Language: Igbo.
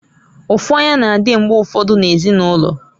Ụfụanya na-adị mgbe ụfọdụ na ezinụlọ.